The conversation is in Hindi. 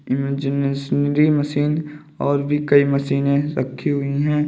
इमेजिनेशनरी मशीन और कई भी मशीनें रखी हुई हैं।